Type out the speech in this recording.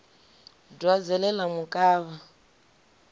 dwadze ḽe ḽa mu kavha